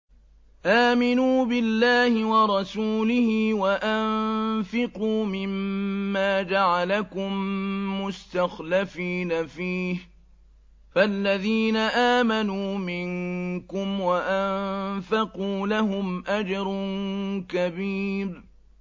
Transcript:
آمِنُوا بِاللَّهِ وَرَسُولِهِ وَأَنفِقُوا مِمَّا جَعَلَكُم مُّسْتَخْلَفِينَ فِيهِ ۖ فَالَّذِينَ آمَنُوا مِنكُمْ وَأَنفَقُوا لَهُمْ أَجْرٌ كَبِيرٌ